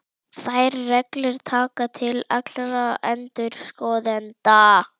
Þær reglur taka til allra endurskoðenda.